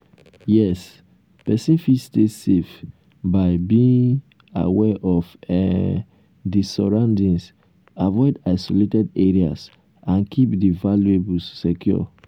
yes pesin fit stay safe by being um aware of um um di surroundings avoid isolated areas and keep di valuables um secure.